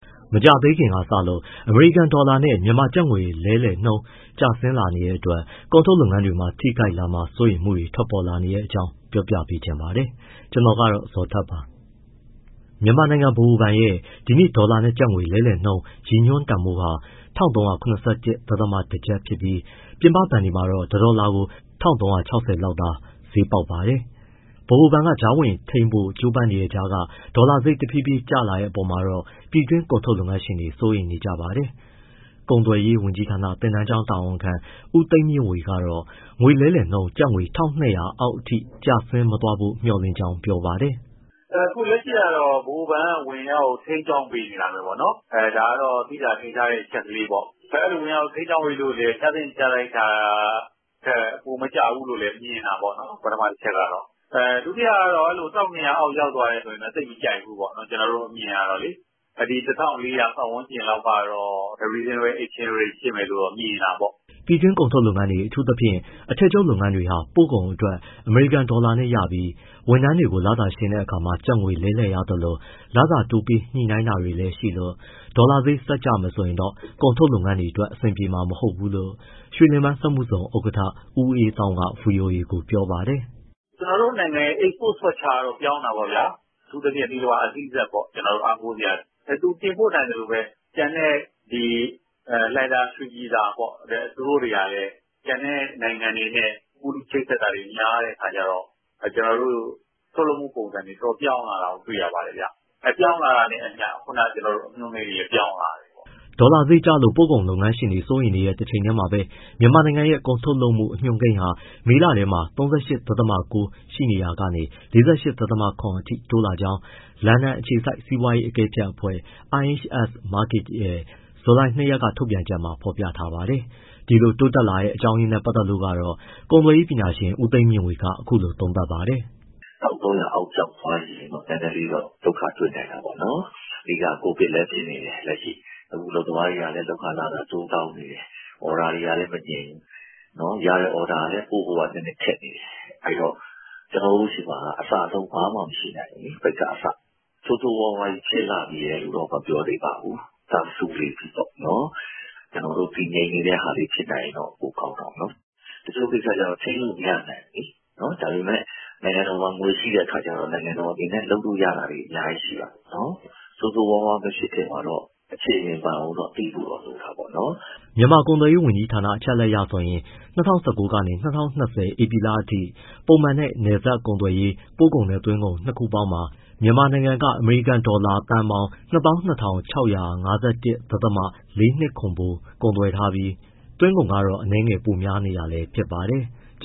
မကြာသေးခင်ကစလို့ အမေရိကန် ဒေါ်လာနဲ့ မြန်မာကျပ်ငွေလဲနှုန်း ကျဆင်းလာနေတဲ့အတွက် ကုန်ထုတ်လုပ်ငန်းတွေမှာ ထိခိုက်လာမှာ စိုးရိမ်မှုတွေ ထွက်ပေါ်လာနေတဲ့အကြောင်း တင်ပြချင်ပါတယ်။ VOA သတင်းထောက် ကိုဇော်ထက် က ရန်ကုန်ကနေ သတင်းပေးပို့ထားပါတယ်။ မြန်မာနိုင်ငံ ဗဟိုဘဏ်ရဲ့ ဒီနေ့ ဒေါ်လာနဲ့ကျပ်ငွေ လဲလှယ်နှုန်း ရည်ညွှန်းတန်ဖိုးဟာ ၁၃၇၁.၁ ကျပ်ဖြစ်ပြီး ပြင်ပ ဘဏ်တွေမှာတော့ တဒေါ်လာကို ၁၃၆၀ ကျပ်လောက်သာ ဈေးပေါက်ပါတယ်။ ဗဟိုဘဏ်က ကြားဝင်ထိန်းဖို့ ကြိုးပမ်းနေတဲ့ ကြားက ဒေါ်လာဈေး တဖြည်းဖြည်းကျလာတဲ့ အပေါ်မှာတော့ ပြည်တွင်း ကုန်ထုတ်လုပ်ငန်းရှင်တွေ စိုးရိမ်နေကြပါတယ်။ ကုန်သွယ်ရေးဝန်ကြီးဌာန သင်တန်းကျောင်းတာဝန်ခံ ဦးသိန်းမြင့်ဝေကတော့ ငွေလဲနှုန်း ကျပ်ငွေ ၁၂၀၀ အောက်အထိ ကျဆင်းမသွားဖို့ မျှော်လင့်ကြောင်း ပြောပါတယ်။ “ အခုလက်ရှိကတော့ ဗဟိုဘဏ်က ဝင်ရောက်ထိန်းကြောင်းနေတာပဲပေါ့၊ ဒါကတော့ သိသာထင်ရှားတဲ့ အချက်ကလေးပေါ့။ အဲဒီလို ဝင်ရောက် ထိန်းကြောင်းပေးလို့လည်း ကျသင့်ကျထိုက်တာထက် ပိုမကျဘူးလို့လည်း မြင်တာပေါ့နော်၊ ပထမ တချက်ကတော့။ ဒုတိယက အဲလို ၁၂၀၀ အောက် ရောက်သွားမယ်ဆို သိပ်မကြိုက်ဘူးပေါ့ ကျနော်တို့ အမြင်ကတော့။ ဒီ ၁၄၀၀ ပတ်ဝန်းကျင်လောက်ကတော့ reasonable exchange rate ဖြစ်မယ်လို့တော့ မြင်တာပေါ့။” ပြည်တွင်း ကုန်ထုတ်လုပ်ငန်းတွေ အထူးသဖြင့် အထည်ချုပ်လုပ်ငန်းတွေဟာ ပို့ကုန်အတွက် အမေရိကန်ဒေါ်လာနဲ့ရပြီး ဝန်ထမ်းတွေကို လစာရှင်းတဲ့အခါမှာ ကျပ်ငွေလဲလှယ်ရသလို ၊ လစာတိုးပေးညှိနှိုင်းတာတွေလည်းရှိလို့ ဒေါ်လာဈေး ဆက်ကျမယ်ဆိုရင်တော့ ကုန်ထုတ်လုပ်ငန်းတွေအတွက် အဆင်ပြေမှာ မဟုတ်ဘူးလို့ ရွှေလင်ပန်းစက်မှုဇုံ ဥက္ကဋ္ဌ ဦးအေးသောင်းက ဗွီအိုအေကို ပြောပါတယ်။ “ ကျနော်တို့ နိုင်ငံရဲ့ export structure ကတော့ ပြောင်းတာပေါ့ဗျာ။ အထူးသဖြင့် သီလဝါ SEZ ပေါ့၊ ကျနော်တို့ အားကိုးစရာ။ သူတင်ပို့နိုင်သလိုပဲ ကျန်တဲ့ လှိုင်သာယာ၊ ရွှေပြည်သာပေါ့ သူတို့တွေကလည်း ကျန်တဲ့ နိုင်ငံတွေနဲ့ ကူးလူးချိတ်ဆက်တာတွေ များတဲ့ အခါကျတော့ ကျနော်တို့ ထုတ်လုပ်မှုပုံစံတွေ ပြောင်းလာတာကို တွေ့ရပါတယ်ဗျ။ ပြောင်းလာတာနဲ့အမျှ ခုနက ကျနော်တို့ အညွှန်းကိန်းတွေလည်း ပြောင်းလာတယ်ပေါ့။” ဒေါ်လာဈေးကျလို့ ပို့ကုန်လုပ်ငန်းရှင်တွေ စိုးရိမ်နေတဲ့ တချိန်တည်းမှာပဲ မြန်မာနိုင်ငံရဲ့ ကုန်ထုတ်လုပ်မှု အညွှန်းကိန်းဟာ မေလထဲမှာ ၃၈.၉ ရှိနေရာကနေ ၄၈.၇ အထိ တိုးလာကြောင်း လန်ဒန်အခြေစိုက် စီးပွားရေးအကဲဖြတ်အဖွဲ့ IHS Markit ရဲ့ ဇူလိုင် ၂ရက်က ထုတ်ပြန်ချက်မှာ ဖော်ပြထားပါတယ်။ ဒီလို တိုးတက်လာတဲ့ အကြောင်းရင်းနဲ့ ပတ်သက်လို့တော့ ကုန်သွယ်ရေးပညာရှင် ဦးသိန်းမြင့်ဝေက အခုလို သုံးသပ်ပါတယ်။ “ ၁၃၀၀ အောက်ရောက်သွားရင်တော့ နည်းနည်းလေးတော့ ဒုက္ခတွေ့နိုင်တာပေါ့နော်၊ အဓိက COVID လည်းဖြစ်နေတယ်၊ အခုအလုပ်သမားတွေကလည်း လုပ်ခလစာ တိုးတောင်းနေတယ်၊ order တွေကလည်း မငြိမ်ဘူး၊ ရတဲ့ order ကလည်း ပို့ဖို့က နည်းနည်းခက်နေတယ်။ အဲဒီတော့ ကျနော်တို့ ဆီမှာက အစအဆုံး ဘာမှမရှိနိုင်ဘူးလေ၊ ပိတ်ကအစ။ ဆိုးဆိုးရွားရွားကြီး ဖြစ်လှချည်လို့ မပြောသေးပါဘူး၊ တာစူနေပြီပေါ့။ တည်ငြိမ်နေတဲ့ဟာလေး ဖြစ်ရင် ပိုကောင်းတာပေါ့။ တချို့ကိစ္စက ထိန်းလို့မရဘူးလေ ဒါပေမယ့် နိုင်ငံတော်မှာ ငွေရှိတဲ့အခါကျတော့ လုပ်လို့ရတာတွေ အများကြီးရှိတာပေါ့။ ဆိုးဆိုးရွားရွားမဖြစ်ခင် အခြေအနေမှန်ကို သိဖို့တော့ လိုတာပေါ့။” မြန်မာကုန်သွယ်ရေးဝန်ကြီးဌာန အချက်အရဆိုရင် ၂၀၁၉ ကနေ ၂၀၂၀ ဧပြီလအထိ ပုံမှန်နဲ့ နယ်စပ်ကုန်သွယ်ရေး ပို့ကုန်နဲ့သွင်းကုန် နှစ်ခုပေါင်းမှာ မြန်မာနိုင်ငံက အမေရိကန်ဒေါ်လာ ၂၂၆၅၁. ၄၂၇ သန်းဖိုး ကုန်သွယ်ထားပြီး သွင်းကုန်ကတော့ အနည်းငယ်ပိုများနေတာလည်းဖြစ်ပါတယ်။